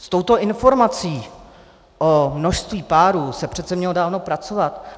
S touto informací o množství párů se přece mělo dávno pracovat.